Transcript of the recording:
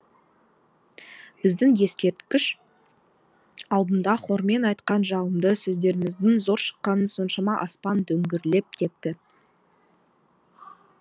біздің ескерткіш алдында хормен айтқан жалынды сөздеріміздің зор шыққаны соншама аспан дүңгірлеп кетті